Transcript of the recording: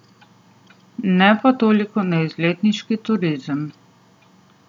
Ne pa toliko na izletniški turizem.